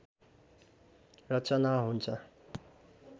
रचना हुन्छ